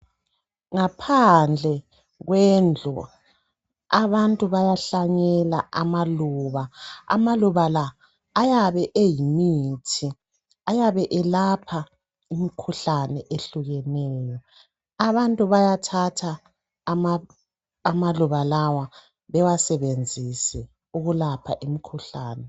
Ngaphandle kwendlu abantu bayahlanyela amaluba. Amaluba la ayabe eyimithi .Ayabe elapha imikhuhlane ehlukeneyo. Abantu bayathatha amaluba lawa bewasebenzise ukulapha imikhuhlane.